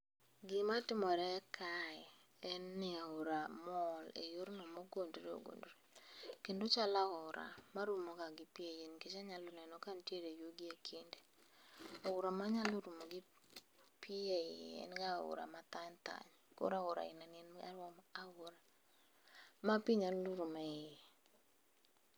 Gima timore kae, en ni aora mol e yorno mogondore ogondore. Kendo ochalo aora marumoga gi pi ei nikech anyalo neno kanitie yugi ekinde.. Aora manyalo rumo gi pi eiye en ga aora mathany thany. Koro aora ainani en aora ma pi nyalo rumo eiye.